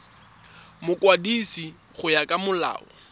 mokwadisi go ya ka molao